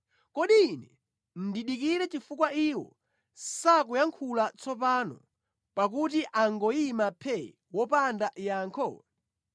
Kodi ine ndidikire chifukwa iwo sakuyankhula tsopano, pakuti angoyima phee wopanda yankho?